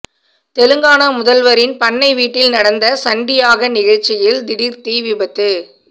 தெலங்கானா முதல்வரின் பண்ணை வீட்டில் நடந்த சண்டி யாக நிகழ்ச்சியில் திடீர் தீ விபத்து